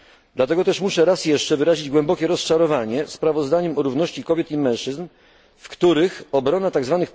Dlatego też muszę raz jeszcze wyrazić głębokie rozczarowanie sprawozdaniem o równości kobiet i mężczyzn, w których obrona tzw.